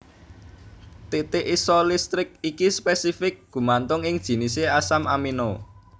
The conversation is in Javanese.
Titik isolistrik iki spésifik gumantung ing jinis asam aminoné